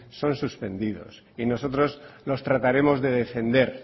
son suspendidos y nosotros los trataremos de defender